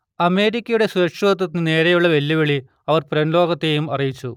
അമേരിക്കയുടെ സുരക്ഷിതത്വത്തിനു നേരെയുള്ള വെല്ലുവിളി അവർ പുറംലോകത്തെ അറിയിച്ചു